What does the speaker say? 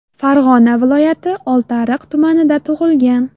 Farg‘ona viloyati Oltiariq tumanida tug‘ilgan.